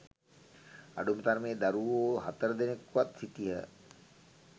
අඩුම තරමේ දරුවෝ හතර දෙනකුවත් සිටියහ